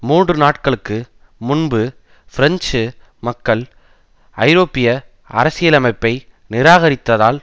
மூன்று நாட்களுக்கு முன்பு பிரெஞ்சு மக்கள் ஐரோப்பிய அரசியலமைப்பை நிராகரித்ததால்